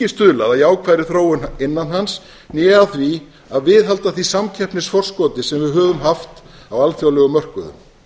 stuðlað að jákvæðri þróun innan hans né á því að viðhalda því samkeppnisforskoti sem við höfum haft á alþjóðlegum mörkuðum